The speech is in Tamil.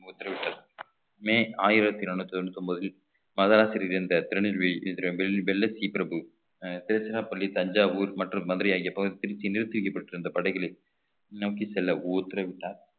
உத்தரவிட்டது மே ஆயிரத்தி நானூத்தி தொண்ணூத்தி ஒன்பதில் மகராசிரியர் என்ற திருநெல்வேலி இயந்திரம் வெள்ள வெள்ள சி பிரபு அஹ் திருச்சிராப்பள்ளி தஞ்சாவூர் மற்றும் மதுரை ஆகிய பகுதி திருச்சியில் நிறுத்தி வைக்கப்பட்டிருந்த படைகளை நோக்கி செல்ல உத்தரவிட்டார்